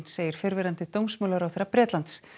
segir fyrrverandi dómsmálaráðherra Bretlands